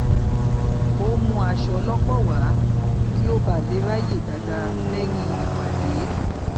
ó mú aṣọ lọpọ wá kí ó bà lè ráàyè bà lè ráàyè dáadáa lẹyìn ìpàdé